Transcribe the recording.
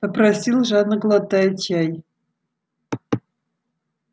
попросил жадно глотая чай